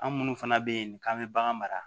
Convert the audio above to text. An minnu fana bɛ yen k'an bɛ bagan mara